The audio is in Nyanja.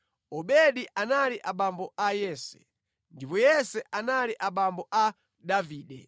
Obedi anali abambo a Yese, ndipo Yese anali abambo a Davide.